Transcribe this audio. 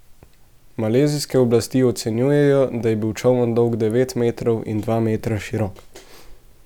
Malezijske oblasti ocenjujejo, da je bil čoln dolg devet metrov in dva metra širok.